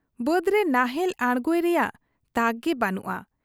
ᱵᱟᱹᱫᱽᱨᱮ ᱱᱟᱦᱮᱞ ᱟᱬᱜᱚᱭ ᱨᱮᱭᱟᱝ ᱛᱟᱠᱜᱮ ᱵᱟᱹᱱᱩᱜ ᱟ ᱾